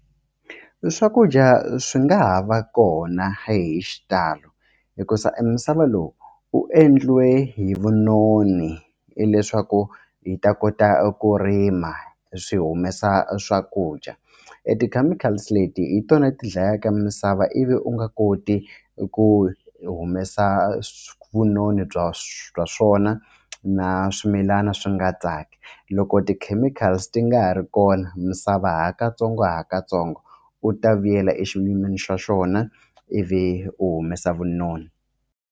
Swakudya swi nga ha va kona hi xitalo hikuza e misava lowu u endliwe hi vunoni hileswaku hi ta kota ku rima swi humesa swakudya e ti-chemicals leti hi tona ti dlayaka misava ivi u nga koti ku humesa vunoni bya bya swona na swimilana swi nga nga tsaki loko ti-chemicals ti nga ha ri kona misava hi katsongo hi katsongo u ta vuyela e xiyimeni xa xona ivi u humesa vunoni.